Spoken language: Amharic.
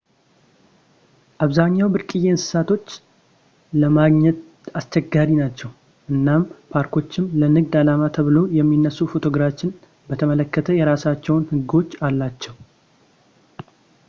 አብዛኛውን ብርቅዪ እንሰሳቶች ለማግኘትአስቸጋሪ ናቸው እናም ፓርኮችም ለንግድ አላማ ተብለው የሚነሱ ፎቶግራፎችን በተመለከተ የራሳቸው ህጎች አላቸው